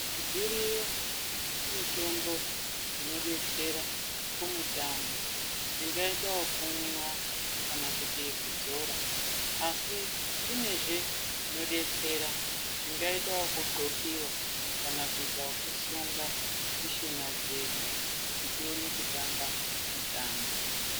Dziriyo mitombo dzinodetsera kumutambo dzingaita wokumwiwa kana kuti yekudzora. Asi kunezve zvinodetsera, zvingaita wokudxokiwa kana kuita wosunga mishuna dzedu kuti tione kutamba mitambo.